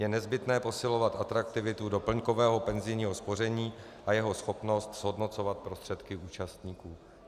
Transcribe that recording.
Je nezbytné posilovat atraktivitu doplňkového penzijního spoření a jeho schopnost zhodnocovat prostředky účastníků.